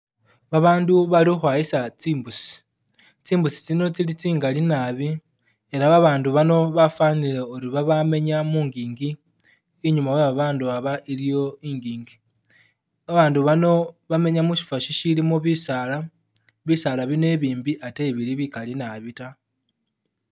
Babandu Bali ukhwayisa tsimbusi, tsimbusi tsino tsili tsingali nabi, ela babandu bano bafanile uri babamenya mungingi, inyuma we babandu aba iliyo ingingi, babandu bano bamenya mushifo shisilimo bisaala, bisaala bino ibimbi ate ebili bikali nabi ta